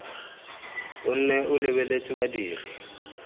o nne o lebeletse badiri